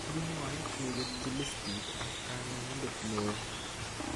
Kimwae keketchi listit ak kanyaindet neoo